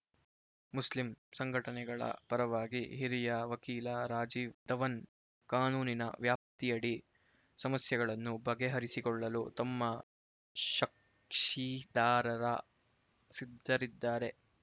Muslim ಸಂಘಟನೆಗಳ ಪರವಾಗಿ ಹಿರಿಯ ವಕೀಲ ರಾಜೀವ್ ದವನ್ ಕಾನೂನಿನ ವ್ಯಾಪ್ತಿಯಡಿ ಸಮಸ್ಯೆಗಳನ್ನು ಬಗೆಹರಿಸಿಕೊಳ್ಳಲು ತಮ್ಮ ಕಕ್ಷಿದಾರರ ಸಿದ್ಧರಿದ್ದಾರೆ